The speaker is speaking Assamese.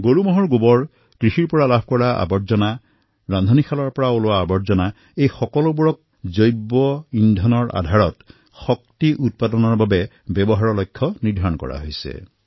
পশুৰ গোবৰ খেতিৰ পৰা নিষ্কাশিত জাবৰ পাকঘৰ পৰা ওলোৱা জাবৰ এই সকলোৰে পৰা বায়গেছ আধাৰিত শক্তি উৎপাদনৰ বাবে ব্যৱহাৰ কৰাৰ লক্ষ্য নিৰ্ধাৰিত কৰা হৈছে